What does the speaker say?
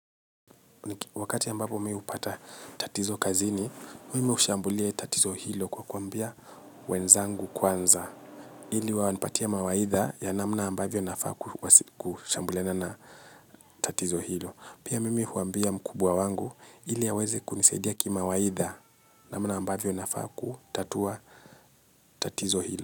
Wakati ambapo mimi hupata tatizo kazini, mimi hushambulia tatizo hilo kwa kuambia wenzangu kwanza. Ili wanipatie mawaidha ya namna ambavyo nafaa kushambuliana na tatizo hilo. Pia mimi huambia mkubwa wangu ili aweze kunisadia kimawaidha namna ambavyo nafaa kutatua tatizo hilo.